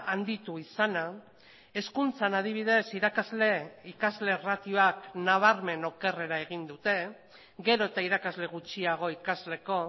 handitu izana hezkuntzan adibidez irakasle ikasle ratioak nabarmen okerrera egin dute gero eta irakasle gutxiago ikasleko